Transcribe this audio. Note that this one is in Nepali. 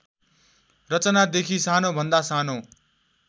रचनादेखि सानोभन्दा सानो